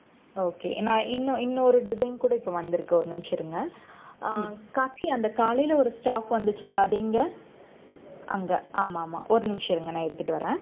okay நான் இன்னும் இன்னொரு design கூட இப்ப வந்திருக்கு, ஒரு நிமிஷம் இருங்க. அஹ் அந்த காலையில ஒரு stock வந்துச்சுல்ல அது எங்க அங்க ஆமா ஆமா ஒரு நிமிஷம் இருங்க நான் எடுத்துட்டு வர்றேன்